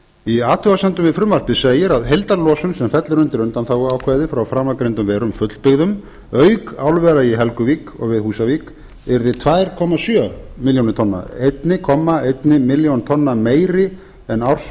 í athugasemdum við frumvarpið segir að heildarlosun sem fellur undir undanþáguákvæðið frá framangreindum verum fullbyggðum auk álvera í helguvík og við húsavík yrði tvö komma sjö milljónir tonna einn komma eina milljón tonna meiri en